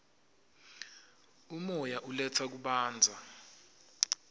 umoya uletsa kubanza